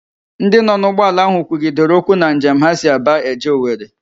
Ndị nọ n'ụgbọala ahụ kwugidere okwu na njem ha si Aba eje Owere